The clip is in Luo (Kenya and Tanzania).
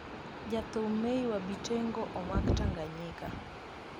jathum May wa Bitengo omak Tanganyika